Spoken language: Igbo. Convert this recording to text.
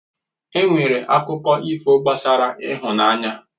Enwere akụkọ ifo gbasara ịhụnanya